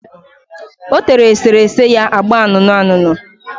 O tere eserese ya agba anụnụanụnụ.